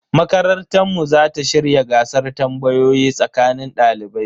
Makarantar mu za ta shirya gasar tambayoyi tsakanin dalibai.